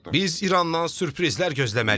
Biz İrandan sürprizlər gözləməliyik.